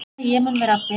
Fer orð og flýgur.